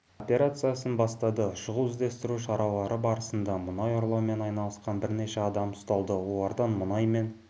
операциясын бастады шұғыл іздестіру шаралары барысында мұнай ұрлаумен айналысқан бірнеше адам ұсталды олардан мұнай мен